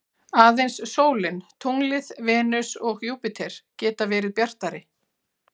Aðeins sólin, tunglið, Venus og Júpíter geta verið bjartari.